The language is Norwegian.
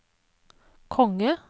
konge